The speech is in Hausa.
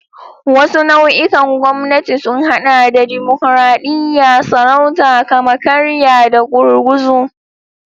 Wasu nau'ikan gwamnati sun haɗa da dimokuradiyya, sarauta, kama-karya, da gurguzu.